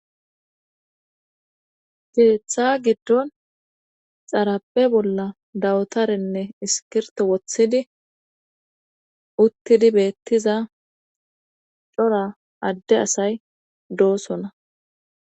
Keeththa giddon xarape bolla dawutarenne iskirto wothidi uttidi beettiza cora adde asay doosona